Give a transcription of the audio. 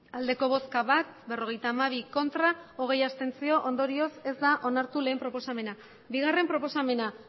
hamairu bai bat ez berrogeita hamabi abstentzioak hogei ondorioz ez da onartu batgarrena proposamena bigarrena proposamena